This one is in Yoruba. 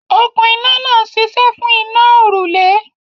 Okún iná náà ń ṣiṣẹ́ fún iná a òrùlé.